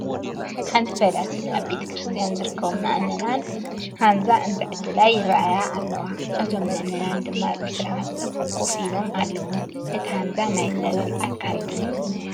ሓንቲ ፈላሲት ኣብ ቤተ ክርስትያን ዝርከቡ ምእመናን ሃንዛ እንትዕድላ ይረአያ ኣለዋ፡፡ እቶም ምእመናን ድማ ብስርዓት ኮፍ ኢሎም ኣለው፡፡ እቲ ሃንዛ ናይ ፀበል ኣካል ድዩ?